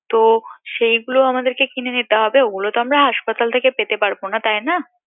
তো সেইগুলো আমাদেরকে কিনে নিতে হবে ও গুলো তো আমরা হাসপাতাল থেকে পেতে পারবো না তাই না